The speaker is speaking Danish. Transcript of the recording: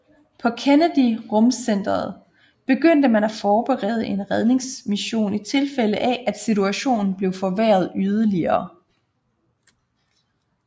På Kennedy Rumcentret begyndte man at forberede en redningsmission i tilfælde af at situationen blev forværret yderligere